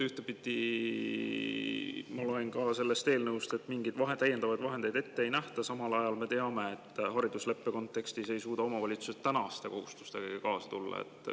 Ma loen sellest eelnõust, et mingeid täiendavaid vahendeid ette ei nähta, samal ajal me teame haridusleppe kontekstist, et omavalitsused ei suuda tänaste kohustustegagi tulla.